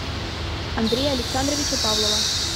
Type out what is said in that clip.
андрея александровича павлова